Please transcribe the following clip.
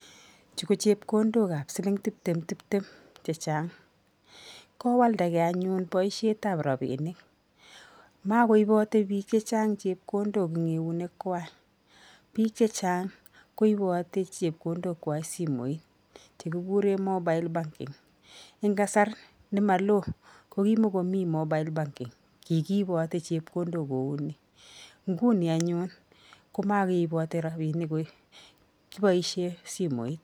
Chu ko chepkondokab siling tiptemtiptem chechang, kowaldagei anyun boisietab rabiinik, makoiboti biik chechang chepkondok eng eunekwai, biik chechang koiboti chepkondokwai eng simoit chekikure mobile banking, eng kasar ne maloo ko kimokomi mobile banking kikiipoti chepkondok kou ni, nguni anyun ko makeipoti rabiinik kiboisie simoit.